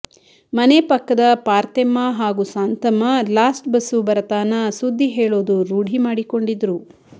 ಮನೆ ಪಕ್ಕದ ಪಾರ್ತೆಮ್ಮ ಹಾಗೂ ಸಾಂತಮ್ಮ ಲಾಸ್ಟ್ ಬಸ್ಸು ಬರತಾನ ಸುದ್ದಿ ಹೇಳೋದು ರೂಢಿ ಮಾಡಿಕೊಂಡಿದ್ರು